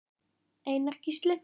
Einar Gísli.